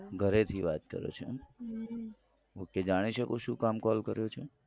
ઘરેથી વાત કરો છો એમ ok જાણી શકું છું શું કામ call કર્યો છે.